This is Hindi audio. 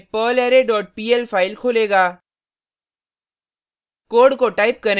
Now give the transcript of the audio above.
यह gedit में perlarray dot pl फाइल खोलेगा